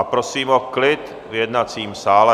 A prosím o klid v jednacím sále.